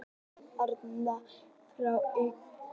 Arnar fer frá Haukum